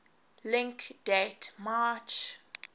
link date march